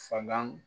Falan